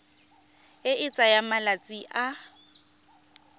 e e tsayang malatsi a